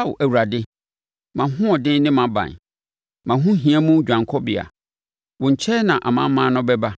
Ao Awurade, mʼahoɔden ne mʼaban, mʼahohia mu dwanekɔbea, wo nkyɛn na amanaman no bɛba